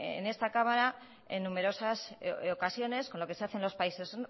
en esta cámara en numerosas ocasiones con lo que se hace en los países